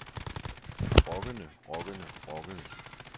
rockende rockende rockende